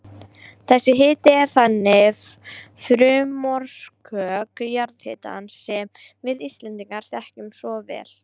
Þessi hiti er þannig frumorsök jarðhitans sem við Íslendingar þekkjum svo vel.